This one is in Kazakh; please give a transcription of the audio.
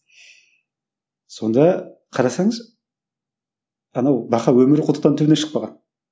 сонда қарасаңыз анау бақа өмірі құдықтан төмен шықпаған